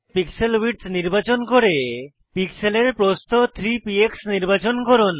pixel width নির্বাচন করে পিক্সেলের প্রস্থ 3 পিএক্স নির্বাচন করুন